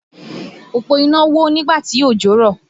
Òpó iná wó nígbà tí òjò rọ̀